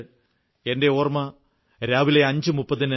അതുകൊണ്ട് എന്റെ ഓർമ്മ രാവിലെ 5